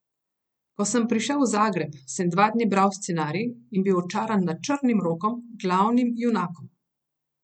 Ko sem prišel v Zagreb, sem dva dni bral scenarij in bil očaran nad Črnim Rokom, glavnim junakom.